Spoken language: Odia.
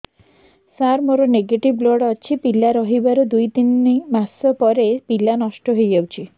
ସାର ମୋର ନେଗେଟିଭ ବ୍ଲଡ଼ ଅଛି ପିଲା ରହିବାର ଦୁଇ ତିନି ମାସ ପରେ ପିଲା ନଷ୍ଟ ହେଇ ଯାଉଛି